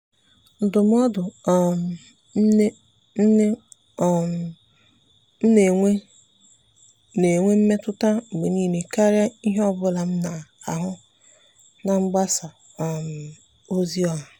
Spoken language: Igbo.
ndụ́mọ́dụ́ um nnè nnè um m nà-ènwé nà-ènwé mmètụ́ta mgbe nìile kàrị́a ìhè ọ bụla m nà-àhụ́ na mgbasa um ozi ọha.